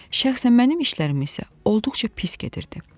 Şəxsən mənim işlərim isə olduqca pis gedirdi.